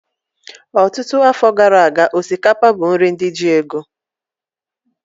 Ọtụtụ afọ gara aga, osikapa bụ nri ndị ji ego